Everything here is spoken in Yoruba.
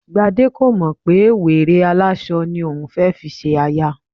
Gbadé kò mọ̀ pé wèrè aláṣọ ni òun fẹ́ fi ṣe aya